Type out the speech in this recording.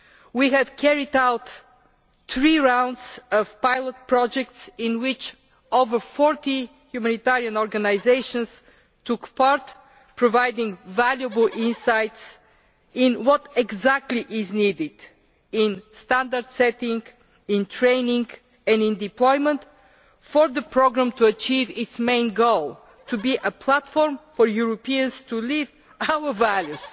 We have carried out three rounds of pilot projects in which over 40 humanitarian organisations took part, providing valuable insights into what exactly is needed in standard setting, in training and in deployment for the programme to achieve its main goal to be a platform where Europeans live out our values,